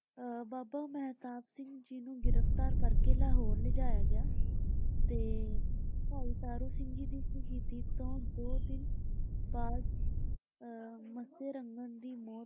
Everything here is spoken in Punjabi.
ਅਹ ਬਾਬਾ ਮਹਿਤਾਬ ਸਿੰਘ ਜੀ ਨੂੰ ਗ੍ਰਿਫ਼ਤਾਰ ਕਰਕੇ ਲਾਹੌਰ ਲਿਜਾਇਆ ਗਿਆ ਤੇ ਭਾਈ ਤਾਰੂ ਸਿੰਘ ਜੀ ਦੀ ਸ਼ਹੀਦੀ ਤੋਂ ਦੋ ਦਿਨ ਬਾਅਦ ਅਹ ਮੱਸੇ ਰੰਘੜ ਦੀ ਮੌਤ,